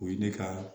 O ye ne ka